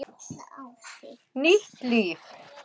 Nýtt líf